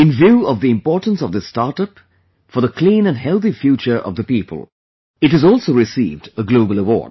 In view of the importance of this startup for the clean and healthy future of the people , it has also received a Global Award